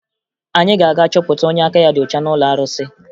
Anyị ga-aga chọpụta onye aka ya dị ọcha n'ụlọ arụsị